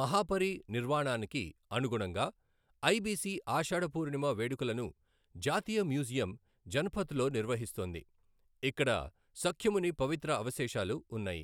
మహాపరినిర్వాణానికి అనుగుణంగా ఐబిసి ఆషాఢ పూర్ణిమ వేడుకలను జాతీయ మ్యూజియం, జనపథ్లో నిర్వహిస్తోంది, ఇక్కడ సఖ్యముని పవిత్ర అవశేషాలు ఉన్నాయి.